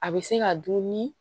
A bɛ se ka dun ni